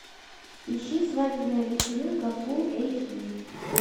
ищи свадебная вечеринка фул эйч ди